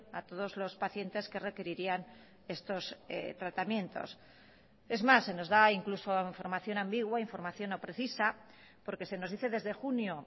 a todos los pacientes que requerirían estos tratamientos es más se nos da incluso información ambigua información no precisa porque se nos dice desde junio